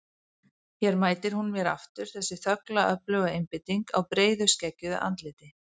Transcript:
Hér mætir hún mér aftur, þessi þögla öfluga einbeiting á breiðu skeggjuðu andliti.